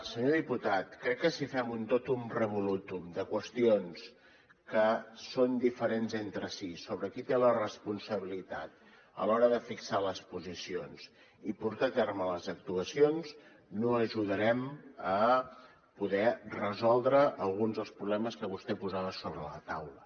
senyor diputat crec que si fem un totum revolutum de qüestions que són diferents entre si sobre qui té la responsabilitat a l’hora de fixar les posicions i portar a terme les actuacions no ajudarem a poder resoldre alguns dels problemes que vostè posava sobre la taula